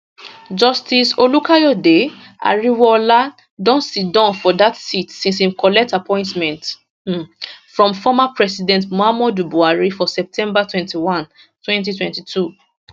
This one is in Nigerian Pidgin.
justice olukayode ariwoola don siddon for dat seat since im collect appointment um from former president muhammadu buhari for september 21 2022